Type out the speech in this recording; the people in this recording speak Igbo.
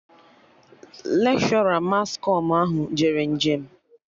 Lekshọra mas kọm ahụ jere njem